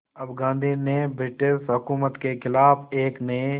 अब गांधी ने ब्रिटिश हुकूमत के ख़िलाफ़ एक नये